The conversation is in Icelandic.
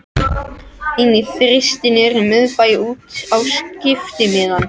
Inn í Þristinn niðri í miðbæ út á skiptimiðann.